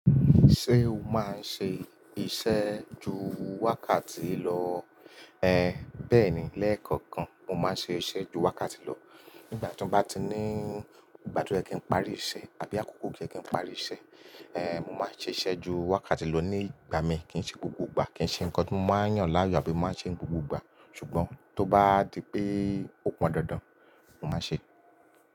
Ṣé o máa ń ṣe iṣẹ́ ju wákàtí lọ? Ehn, bẹ́ẹ̀ni lẹ́ẹ̀kọ̀kan. Mo máa ń ṣe iṣẹ́ ju wákàtí lọ. Nígbà tí mo bá ti ní ìgbádúrà kí n parí iṣẹ́ àbí àkókò kí ẹ kí n parí iṣẹ́, ehn, mo máa ṣe iṣẹ́ ju wákàtí lọ ní ìgbà mí kí n ṣe gbogbo ìgbà kí n ṣe nǹkan tí mo máa yàn láàyò àbí máa ṣe gbogbo ìgbà. Ṣùgbọ́n tó bá di pé ó pọn dandan, mo máa ṣe é.